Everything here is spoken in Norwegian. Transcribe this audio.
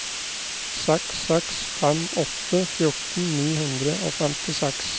seks seks fem åtte fjorten ni hundre og femtiseks